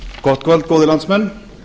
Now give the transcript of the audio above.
gott kvöld góðir landsmenn